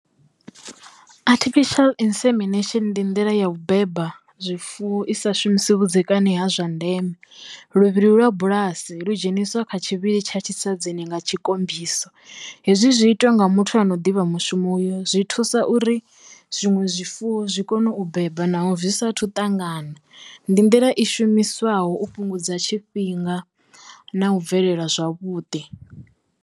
Artificial insemination ndi nḓila yo u beba zwifuwo i sa shumisi vhudzekani ha zwa ndeme, luvhilo lwa bulasi lu dzheniswa kha tsha tshisatshidzini nga tshikombiso. Hezwi zwi itwa nga muthu ano ḓivha mushumo uyo zwi thusa uri zwiṅwe zwifuwo zwi kone u beba naho zwi sa thu ṱangana ndi nḓila i shumiswaho u fhungudza tshifhinga na u bvelela zwavhuḓi.